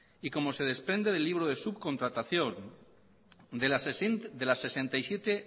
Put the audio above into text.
y como se desprende del libro de subcontratación de las sesenta y siete